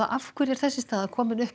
af hverju er þessi staða komin upp